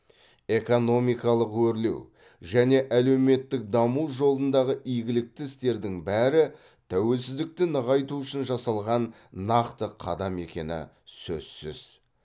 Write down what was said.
экономикалық өрлеу және әлеуметтік даму жолындағы игілікті істердің бәрі тәуелсіздікті нығайту үшін жасалған нақты қадам екені сөзсіз